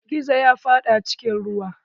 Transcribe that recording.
Gizo ya faɗa cikin ruwa.